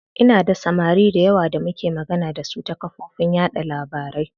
Ina da samari dayawa da muke magana dasu ta kafofin yaɗa labarai.